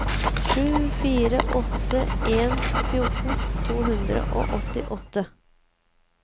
sju fire åtte en fjorten to hundre og åttiåtte